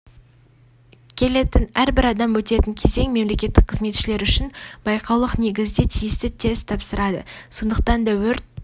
келетін әрбір адам өтетін кезең мемлекеттік қызметшілер үшін байқаулық негізде тиісті тесті тапсырады сондықтан да өрт